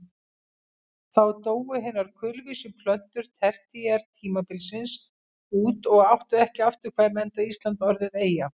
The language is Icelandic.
Þá dóu hinar kulvísu plöntur tertíertímabilsins út og áttu ekki afturkvæmt enda Ísland orðið eyja.